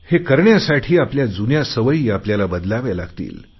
हे करण्यासाठी आपल्या जुन्या सवयी आपल्याला बदलाव्या लागतील